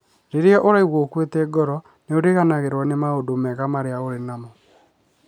Rĩrĩa ũraigua ũkuĩte ngoro, nĩ ũriganĩrũo nĩ maũndũ mega marĩa ũrĩ namo.